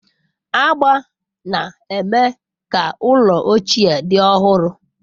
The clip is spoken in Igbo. Agba na-eme ka ụlọ ochie dị ọhụrụ.